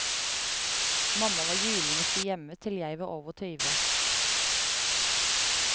Mamma var julenisse hjemme, til jeg var over tyve.